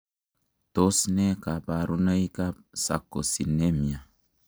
Tos nee koborunoikab Sarcosinemia?